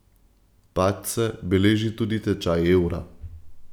Padce beleži tudi tečaj evra.